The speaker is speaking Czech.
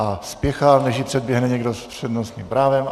A spěchá, než ji předběhne někdo s přednostním právem.